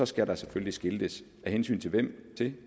skal der selvfølgelig skiltes af hensyn til hvem